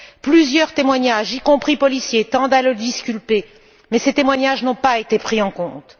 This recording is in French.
Plusieurs témoignages, y compris policiers, tendent à disculper M. Atlaoui, mais ces témoignages n'ont pas été pris en compte.